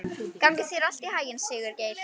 Gangi þér allt í haginn, Sigurgeir.